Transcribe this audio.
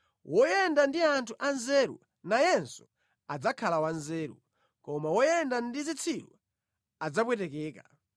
Woyenda ndi anthu anzeru nayenso adzakhala wanzeru; koma woyenda ndi zitsiru adzapwetekeka.